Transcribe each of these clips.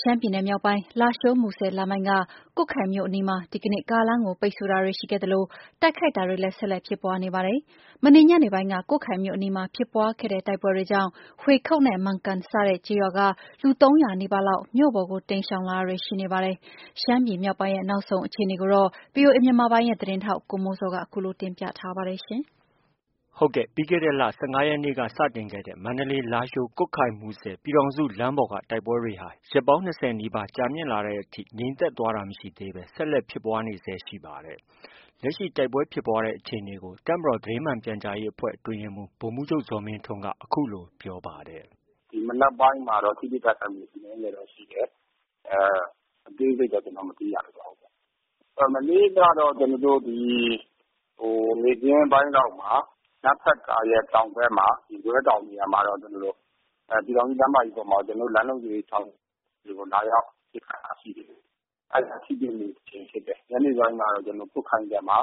ရှမ်းပြည်နယ်မြောက်ပိုင်း လားရှိုး- မူဆယ်လမ်းပိုင်းက ကွတ်ခိုင်မြို့အနီးမှာ ဒီကနေ့ ကားလမ်းကို ပိတ်ဆို့တာတွေရှိခဲ့သလို တိုက်ခိုက်တာတွေလည်း ဆက်လက်ဖြစ်ပွားနေပါတယ်။ မနေ့ညနေပိုင်းက ကွတ်ခိုင်မြို့အနီးမှာ ဖြစ်ပွားခဲ့တဲ့ တိုက်ပွဲတွေကြောင့် ဟွေခုတ်နဲ့ မန်ကန်စတဲ့ ကျေးရွာက လူ ၃၀၀နီးပါးလောက် မြို့ပေါ်ကို တိမ်းရှောင်လာတာတွေရှိနေပါတယ်။ ရှမ်းပြည်မြောက်ပိုင်းရဲ့ နောက်ဆုံးအခြေအနေကို ဗီအိုအေ မြန်မာပိုင်းရဲ့သတင်းထောက် ကိုမိုးဇော်က တင်ပြသွားမှာ ဖြစ်ပါတယ်။ ပြီးခဲ့တဲ့ လ ၁၅ရက်နေ့က စတင်ခဲ့တဲ့ မန္တလေး- လားရှိုး- ကွတ်ခိုင်- မူဆယ် ပြည်ထောင်စုလမ်းပေါ်က တိုက်ပွဲတွေဟာ ရက် ၂၀ နီးပါး ကြာမြင့်လာတဲ့အထိ ငြိမ်သက်သွားတာ မရှိသေးဘဲ ဆက်လက်ဖြစ်ပွားနေဆဲ ရှိပါတယ်။ လက်ရှိ တိုက်ပွဲဖြစ်ပွားတဲ့ အခြေအနေကို တပ်မတော်သတင်းမှန်ပြန်ကြားရေးအဖွဲ့ အတွင်းရေးမှုး ဗိုလ်မှုးချုပ် ဇော်မင်းထွန်းက အခုလို ပြောပါတယ်။ “ ဒီမနက်ပိုင်းမှာတော့ ထိတွေ့ တိုက်ခိုက်မှု အနည်းငယ်တော့ ရှိတယ်။ အသေးစိတ်တော့ ကျနော်တို့ မသိရ သေးပါဘူး။ မနေ့ကတော့ ဒီ နေ့ခင်းပိုင်းလောက်မှာ နမ့်ဖတ်ကာရဲ့ တောင်ဘက် ရင်ကွဲတောင်မှာတော့ ပြည်ထောင်စု လမ်းမကြီးပေါ်မှာတော့ ကျနော်တို့ လမ်းလုံခြုံရေးဆောင်ရွက်သူတွေကို လာရောက် ပစ်ခတ်တာ ရှိတယ်။ အဲဒီမှာ ထိတွေ့မှု တစ်ကြိမ်ဖြစ်တယ်။ ညနေပိုင်းမှာတော့ ကျနော်တို့ ကွတ်ခိုင်ဘက်မှာ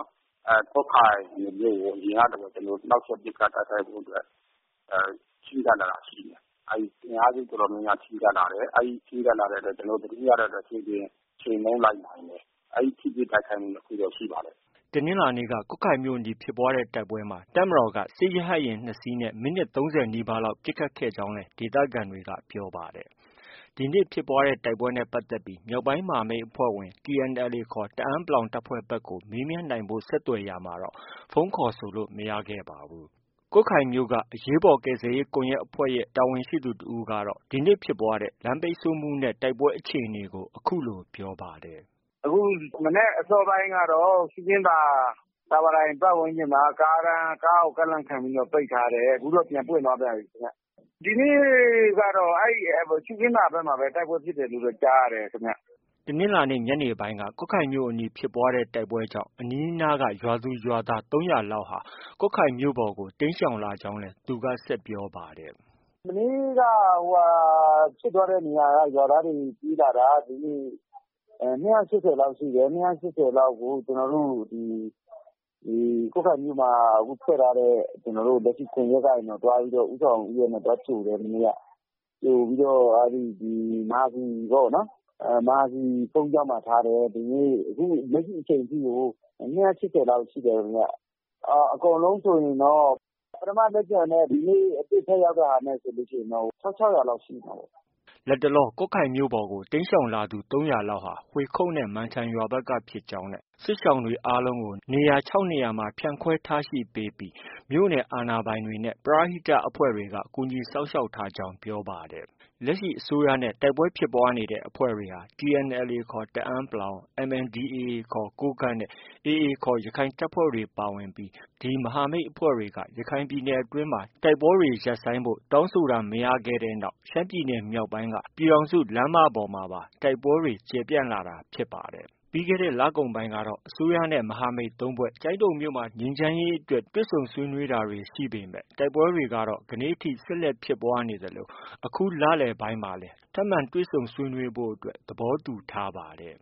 ကွတ်ခိုင်မြို့ကို အရင်ကလိုပဲ နှောက်ယှက် ပစ်ခတ်တိုက်ခိုက်ဖို့အတွက် ချဉ်းကပ်လာတာရှိတယ်။ အဲဒီ အင်အားစုတော်တော်များများ ချဉ်းကပ်လာတယ်။ အဲဒီချဉ်းကပ်လာတာ ကျနော်တို့ သတင်းရတဲ့အတွက် ကြိုတင်ချေမှုန်းလိုက်နိုင်တယ်။ အဲဒီ ထိတွေ့ တိုက်ခိုက်မှု ၂ခုတော့ ရှိပါတယ်။ ” တနင်္လာနေ့က ကွတ်ခိုင်မြို့အနီး ဖြစ်ပွားတဲ့တိုက်ပွဲမှာ တပ်မတော်က စစ်ရဟတ်ယာဉ် ၂စင်းနဲ့ မိနစ် ၃၀နီးပါးလောက် ပစ်ခတ်ခဲ့ကြောင်းလည်း ဒေသခံတွေက ပြောပါတယ်။ ဒီနေ့ ဖြစ်ပွားတဲ့ တိုက်ပွဲနဲ့ ပတ်သက်ပြီး မြောက်ပိုင်းမဟာမိတ်အဖွဲ့ဝင် TNLA ခေါ် တအန်း တပ်ဖွဲ့ဘက်ကို မေးမြန်းနိုင်ဖို့ ဆက်သွက်ရာမှာတော့ ဖုန်းခေါ်ဆိုလို့ မရခဲ့ပါဘူး။ ကွတ်ခိုင်မြို့ အရေးပေါ်ကယ်ဆယ်ရေးကွန်ရက်အဖွဲ့က တာဝန်ရှိသူတစ်ဦးကတော့ ဒီနေ့ ဖြစ်ပွားတဲ့ လမ်းပိတ်ဆို့မှုနဲ့ တိုက်ပွဲအခြေအနေကို အခုလို ပြောပါတယ်။ “ ဒီကနေ့ မနက်အစောပိုင်းကတော့ ရှုခင်းသာ တာဝါတိုင်ပတ်ဝန်းကျင်မှာ ကားကို ကန့်လန့်ခံပြီးတော့ ပိတ်ထားတယ်။ အခုတော့ ပြန်ပွင့်သွားပြန်ပြီခင်ဗျ။ ဒီနေ့ကတော့ ရှုခင်းသာဘက်မှာပဲ တိုက်ပွဲဖြစ်ပွားတယ်လို့ ကြားရတယ်ခင်ဗျ။” တနင်္လာနေ့ ညနေပိုင်း ကွတ်ခိုင်မြို့အနီးဖြစ်ပွားတဲ့ တိုက်ပွဲကြောင့် အနီးအနားက ရွာသူ၊ ရွာသား ၃၀၀လောက် ကွတ်ခိုင်မြို့ပေါ်ကို တိမ်းရှောင်လာကြောင်းလည်း သူက ဆက်ပြောပါတယ်။ “ မနေ့က ဖြစ်သွားတဲ့နေရာက ရွာသားတွေ ပြေးလာတာ ဒီနေ့ ၂၈၀လောက်ရှိတယ်။ ၂၈၀လောက်ကို ကျနော်တို့ ဒီ ကွတ်ခိုင်မြို့မှာ ဖွဲ့ထားတဲ့ လက်ရှိ ကွန်ရက်ကနေပြီးတော့ ဦးဆောင်ဦးရွက်နဲ့ သွားကြိုတယ် မနေ့က ။ ကြိုပြီးတော့ မဟာစည်ပေါ့နော်။ မဟာစည်ဘုန်းကြီးကျောင်းမှာ ထားတယ်။ ဒီနေ့ လက်ရှိအချိန်ထိကို ၂၈၀လောက်ရှိတယ်။ အကုန်လုံးဆိုရင်တော့ ပထမလက်ကျန်နဲ့ ဒီနေ့ ထပ်ရောက်တာနဲ့ ဆိုရင်တော့ ၁၆၀၀ လောက်ရှိမှာပေါ့။” လတ်တလော ကွတ်ခိုင်မြို့ပေါ်ကို တိမ်းရှောင်လာသူ ၃၀၀လောက်ဟာ ဟွေခုတ်နဲ့ မန်ထန်ရွာဘက်က ဖြစ်ကြောင်းနဲ့ စစ်ရှောင်တွေကို နေရာ ၆နေရာမှာ နေရာချထားပေးပြီးမြို့နယ်အာဏာပိုင်တွေနဲ့ ပရဟိတအဖွဲ့တွေက ကူညီစောင့်ရှောက်ထားကြောင်း ပြောပါတယ်။ လက်ရှိ အစိုးရနဲ့ တိုက်ပွဲဖြစ်ပွားနေတဲ့ အဖွဲ့တွေဟာ TNLA ခေါ် တအန်း ၊ MNDAA ခေါ် ကိုးကန့်နဲ့ AA ခေါ် ရခိုင်တပ်ဖွဲ့တွေပါဝင်ပြီး မဟာမိတ်အဖွဲ့တွေက ရခိုင်ပြည်နယ်အတွင်းမှာ တိုက်ပွဲတွေ ရပ်ဆိုင်းဖို့ တောင်းဆိုတာ မရခဲ့တဲ့နောက် ရှမ်းပြည်နယ်မြောက်ပိုင်းက ပြည်ထောင်စုလမ်းမပေါ်မှာပါ တိုက်ပွဲတွေ ကျယ်ပြန့်လာတာဖြစ်ပါတယ်။ ပြီးခဲတဲ့ လကုန်ပိုင်းကတော့ အစိုးရနဲ့ မဟာမိတ် ၃ဖွဲ့ ကျိုင်းတုံမြို့နယ် ငြိမ်းချမ်းရေးအတွက် တွေ့ဆုံ ဆွေးနွေးတာတွေ ရှိပေမဲ့ တိုက်ပွဲတွေက ဒီကနေ့ အထိ ဆက်လက်ဖြစ်ပွားနေသလို အခုလလည်ပိုင်းမှာလည်း ထပ်မံတွေ့ဆုံဆွေးနွေးဖို့ သဘောတူထားပါတယ်။